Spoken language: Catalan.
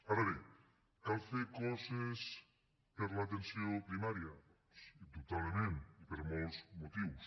ara bé cal fer coses per a l’atenció primària doncs indubtablement i per molts motius